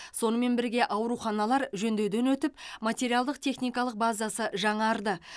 сонымен бірге ауруханалар жөндеуден өтіп материалдық техникалық базасы жаңарды